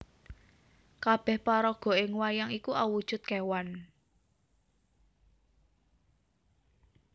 Kabéh paraga ing wayang iku awujud kewan